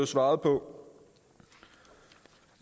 svaret på